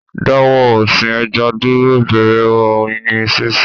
Dáwọ́ ọ̀sìn ẹja dúró, bẹ̀rẹ̀ Oyin sínsìn